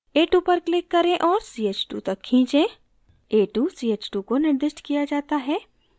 a2 पर click करें और ch2 तक खींचें a2 ch2 को निर्दिष्ट किया जाता है